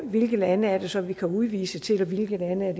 hvilke lande det så er vi kan udvise til og hvilke lande